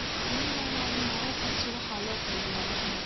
Nemaline myopathy waxa loo qaybiyaa lix nooc.